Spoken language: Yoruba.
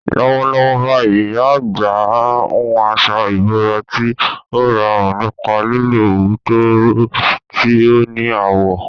Lọ́wọ́lọ́wọ́ báyìí, ìyá àgbà ń hun aṣọ ìbora tí ó rọrùn nípa lílo òwú tó rọ̀, tí ó ní àwọ̀.